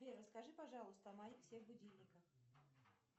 сбер расскажи пожалуйста о моих всех будильниках